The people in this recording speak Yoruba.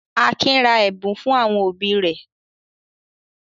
Akin ra ẹ̀bùn fún àwọn òbí rẹ̀?